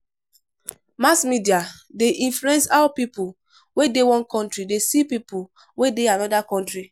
Mass media de influence how pipo wey de one country de see pipo wey de another country